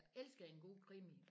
Jeg elsker en god krimi